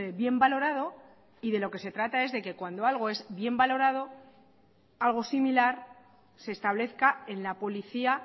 bien valorado y de lo que se trata es de que cuando es bien valorado algo similar se establezca en la policía